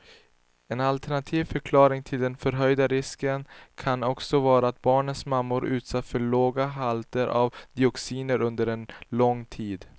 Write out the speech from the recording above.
En alternativ förklaring till den förhöjda risken kan också vara att barnens mammor utsatts för låga halter av dioxiner under lång tid.